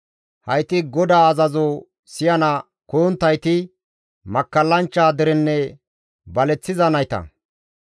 Hayti GODAA azazo siyana koyonttayti, makkallanchcha derenne baleththiza nayta.